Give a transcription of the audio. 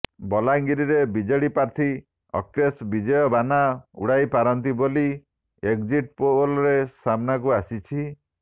ବଲାଙ୍ଗୀରରେ ବିଜେଡି ପ୍ରାର୍ଥୀ ଅର୍କେଶ ବିଜୟ ବାନା ଉଡାଇ ପାରନ୍ତି ବୋଲି ଏକଜିଟ୍ ପୋଲରେ ସାମ୍ନାକୁ ଆସିଛି